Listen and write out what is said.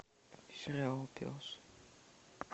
сериал пес